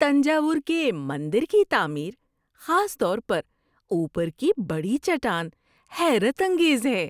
تنجاور کے مندر کی تعمیر، خاص طور پر اوپر کی بڑی چٹان حیرت انگیز ہے۔